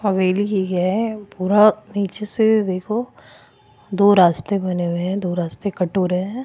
हवेली ही हैं पूरा नीचे से देखो दो रास्ते बने हुए हैं दो रास्ते कट हो रहे हैं।